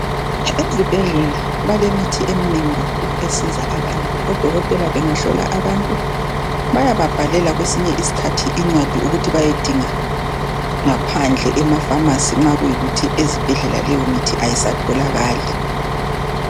Ezibhedlela balemithi eminengi kakhulu esiza abantu bayababhalela kwesinye iskhathi ukuthi bayesinga ngaphandle emaphamacy nxa kuyikuthi ezibhedlela leyo Mithi ayisatholakali